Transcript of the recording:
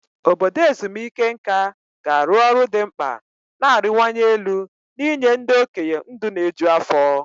Obodo ezumike nká ga-arụ ọrụ dị mkpa na-arịwanye elu n'inye ndị okenye ndụ na-eju afọ.